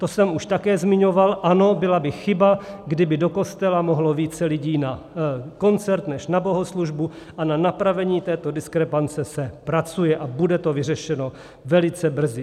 To jsem už také zmiňoval, ano, byla by chyba, kdyby do kostela mohlo více lidí na koncert než na bohoslužbu, a na napravení této diskrepance se pracuje a bude to vyřešeno velice brzy.